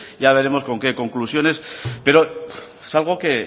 ya veremos con qué conclusiones pero es algo que